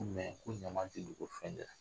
Ko ko ɲama ti dogo fɛn